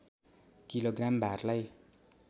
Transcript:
kilo gram भारलाई